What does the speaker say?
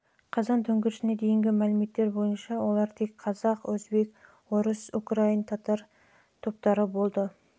топ болып саналды қазан төңкерісіне дейінгі мәліметтер бойынша олар тек қазақ өзбек орыс украин татар